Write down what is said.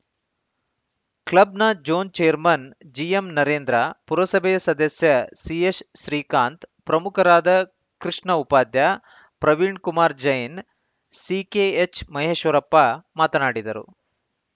ಕ್ಲಬ್‌ನ zone chairman ಜಿಎಂನರೇಂದ್ರ ಪುರಸಭೆಯ ಸದಸ್ಯ ಸಿಎಸ್‌ಶ್ರೀಕಾಂತ್‌ ಪ್ರಮುಖರಾದ ಕೃಷ್ಣ ಉಪಾಧ್ಯ ಪ್ರವೀಣ್‌ಕುಮಾರ್‌ ಜೈನ್‌ ಸಿಕೆಎಚ್‌ಮಹೇಶ್ವರಪ್ಪ ಮಾತನಾಡಿದರು